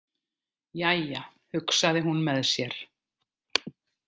Jæja, hugsaði hún með sér.